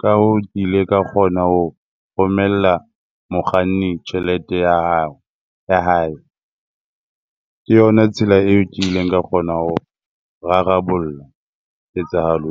Ka hoo, ke ile ka kgona hona ho romella mokganni tjhelete ya hao ya hae. Ke yona tsela eo ke ileng ka kgona ho rarabolla ketsahalo.